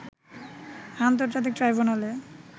আন্তর্জাতিক ট্রাইব্যুনালে